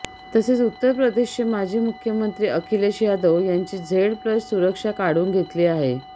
तसेच उत्तर प्रदेशचे माजी मुख्यमंत्री अखिलेश यादव यांची झेड प्लस सुरक्षा काढून घेतली आहे